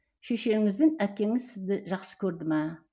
шешеңіз бен әкеңіз сізді жақсы көрді ме